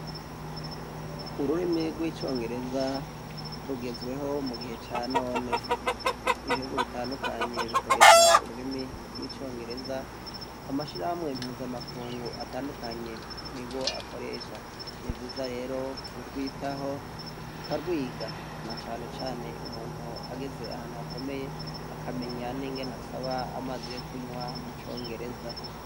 Ururimi rwicongereza rugezweho mugihe canone ibihugu bitandukanye bikoresha ururimi rwicongereza amashirahamwe mpuzamakungu atandukanye nigo akoresha nivyiza rero kugwitaho tukagwiga nacane cane umuntu ageze ahantu hakomeye akamenya ningene asaba amazi yokunywa mucongereza